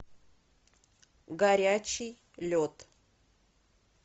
горячий лед